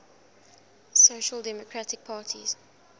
social democratic parties